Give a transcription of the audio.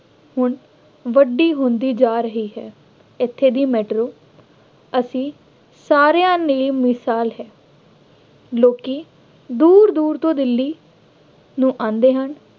ਹੁਣ ਵੱਡੀ ਹੁੰਦੀ ਜਾ ਰਹੀ ਹੈ। ਇੱਥੇ ਦੀ ਮੈਟਰੋ ਅਸੀਂ ਸਾਰਿਆਂ ਲਈ ਮਿਸਾਲ ਹੈ। ਲੋਕੀ ਦੂਰ ਦੂਰ ਤੋਂ ਦਿੱਲੀ ਨੂੰ ਆਉਂਦੇ ਹਨ।